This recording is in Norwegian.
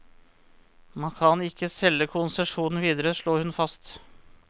Man kan ikke selge konsesjonen videre, slår hun fast.